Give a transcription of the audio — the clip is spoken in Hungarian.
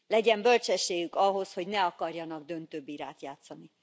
Legyen bölcsességük ahhoz, hogy ne akarjanak döntőbírát játszani.